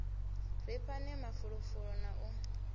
ri fhane mafulufulo na u